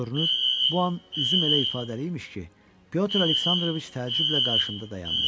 Görünür, bu an üzüm elə ifadəli imiş ki, Pyotr Aleksandroviç təəccüblə qarşımda dayandı.